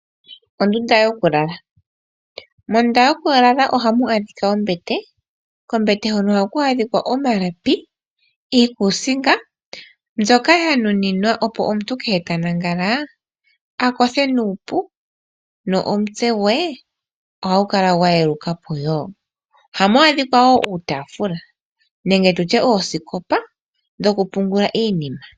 Mondunda yokulala ohamu adhika ombete, kombete hono ohaku adhika omalapi niikuusinga mbyoka ya nuninwa opo omuntu ngele ta lala akothe nuupu nomutse gwe ohagu kala gwa yeluka po. Ohamu adhika wo uutaafula nenge tu tye oosikopa dhokupungula iinima.